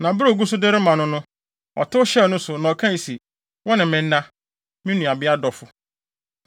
Na bere a ogu so de rema no no, ɔtow hyɛɛ ne so, na ɔkae se, “Wo ne me nna, me nuabea ɔdɔfo.”